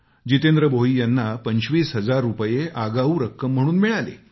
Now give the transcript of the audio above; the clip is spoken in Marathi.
जितेंद्र भोई यांना पंचवीस हजार रुपये आगावू रक्कम म्हणून मिळाले